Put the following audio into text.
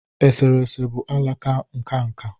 eserese bụ alaka nka nka